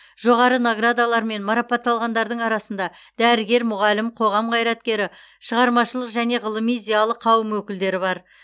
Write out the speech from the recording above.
жоғары наградалармен марапатталғандардың арасында дәрігер мұғалім қоғам қайраткері шығармашылық және ғылыми зиялы қауым өкілдері бар